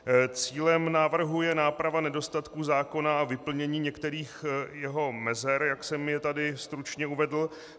Cílem návrhu je náprava nedostatků zákona a vyplnění některých jeho mezer, jak jsem je tady stručně uvedl.